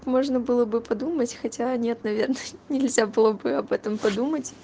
можно было бы подумать хотя нет наверное нельзя было бы об этом подумал